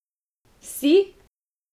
Vsi?